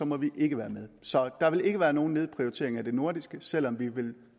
må vi ikke være med så der vil ikke være nogen nedprioritering af det nordiske selv om vi vil